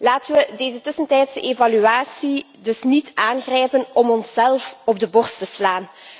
Laten we deze tussentijdse evaluatie dus niet aangrijpen om onszelf op de borst te slaan.